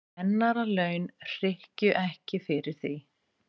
Kennaralaun hrykkju ekki fyrir því.